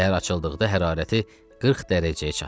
Səhər açıldıqda hərarəti 40 dərəcəyə çatdı.